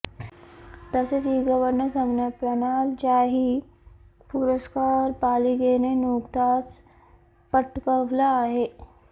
तसेच e governor संगणक प्रणालीचाही पुरस्कार पालिकेने नुकताच पटकवला आहे